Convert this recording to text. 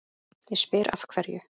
Ég spyr, af hverju?